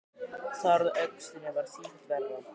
Sárið á öxlinni varð sífellt verra.